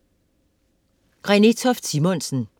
Renée Toft Simonsen